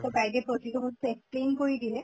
তʼ guide য়ে প্ৰতিটো বস্তু explain কৰি দিলে